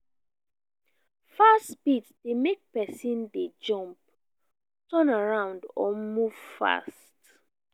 fast beat de make persin de jump turn around or move fast